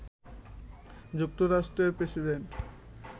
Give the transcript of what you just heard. যুক্তরাষ্ট্রের প্রেসিডেন্ট